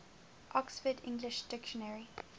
oxford english dictionary